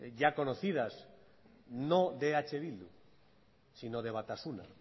ya conocidas no de eh bildu sino de batasuna